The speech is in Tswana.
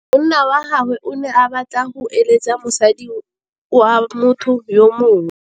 Monna wa gagwe o ne a batla go êlêtsa le mosadi wa motho yo mongwe.